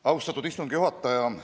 Austatud istungi juhataja!